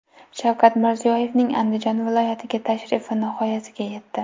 Shavkat Mirziyoyevning Andijon viloyatiga tashrifi nihoyasiga yetdi.